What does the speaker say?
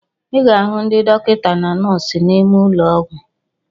I ga-ahu ndị dọkịta na nọọsụ n'ime ụlọ ọgwụ.